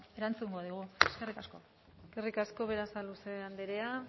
erantzungo digu eskerrik asko eskerrik asko berasaluze andrea